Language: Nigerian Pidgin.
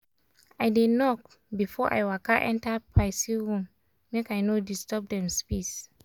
i dey knock before i waka enter person room make i no disturb dem space.